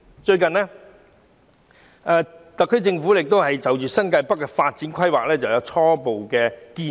最近，特區政府就新界北的發展規劃提出初步建議。